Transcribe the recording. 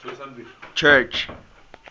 church